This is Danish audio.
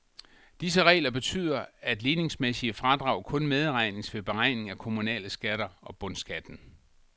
Disse regler betyder, at ligningsmæssige fradrag kun medregnes ved beregning af kommunale skatter og bundskatten.